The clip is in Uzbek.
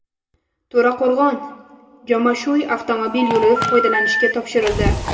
To‘raqo‘rg‘on – Jomashuy avtomobil yo‘li foydalanishga topshirildi.